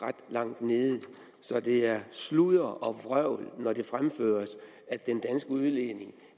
ret langt nede så det er sludder og vrøvl når det fremføres at den danske udledning